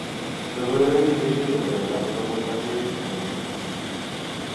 Logoiwek ingircho chelelach kobun gaseti nito